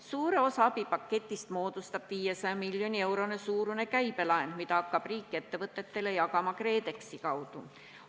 Suure osa abipaketist moodustab 500 miljoni euro suurune käibelaen, mida hakkab riik ettevõtetele jagama KredExi kaudu.